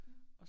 Ja